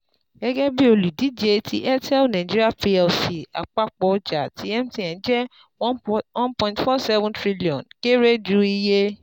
Gẹ́gẹ́ bi olùdíje ti Airtel Nig Plc, àpapọ̀ ọjà ti MTN jẹ́ one point one point four seven trillion kere ju iye